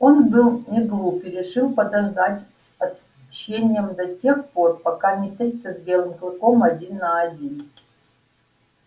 он был неглуп и решил подождать с отмщением до тех пор пока не встретится с белым клыком один на один